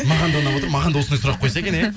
маған да ұнап отыр маған да осындай сұрақ қойса екен иә